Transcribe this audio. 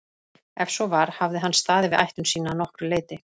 Ef svo var hafði hann staðið við ætlun sína að nokkru leyti.